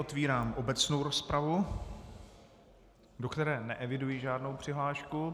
Otvírám obecnou rozpravu, do které neeviduji žádnou přihlášku.